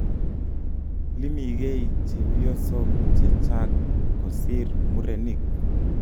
Iimiigei chepyesok chechak kosir murenik